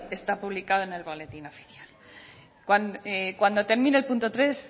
está publicado en el boletín oficial cuando termine el punto tres